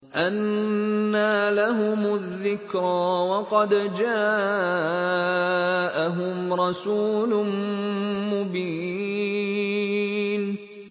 أَنَّىٰ لَهُمُ الذِّكْرَىٰ وَقَدْ جَاءَهُمْ رَسُولٌ مُّبِينٌ